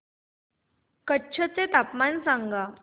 कच्छ चे तापमान सांगा